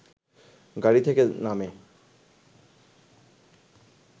গাড়ি থেকে নামে